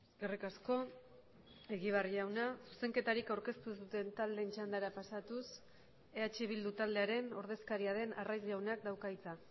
eskerrik asko egibar jauna zuzenketarik aurkeztu ez duten taldeen txandara pasatuz eh bildu taldearen ordezkaria den arraiz jaunak dauka hitza